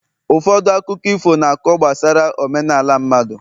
ụfọdụ akụkọ ifo na-akọ gbasara omenala mmadụ